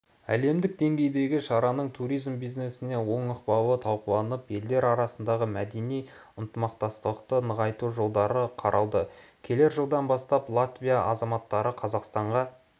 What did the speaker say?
әлемдік деңгейдегі шараның туризм бизнесіне оң ықпалы талқыланып елдер арасындағы мәдени ынтымақтастықты нығайту жолдары қаралды келер жылдан бастап латвия азаматтары қазақстанға